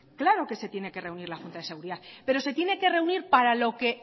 claro que se tiene que reunir la junta de seguridad pero se tiene que reunir para lo que